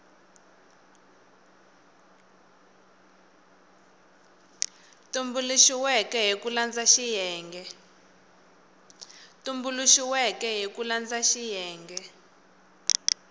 tumbuluxiweke hi ku landza xiyenge